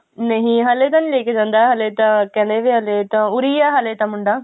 ਨਹੀਂ ਹਲੇ ਤਾਂ ਨੀ ਲੈਕੇ ਜਾਂਦਾ ਹਲੇ ਤਾਂ ਕਹਿੰਦੇ ਵੀ ਹਲੇ ਤਾਂ ਉਰੀ ਆ ਹਲੇ ਤਾਂ ਮੁੰਡਾ